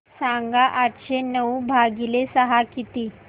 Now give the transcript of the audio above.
सांगा आठशे नऊ भागीले सहा किती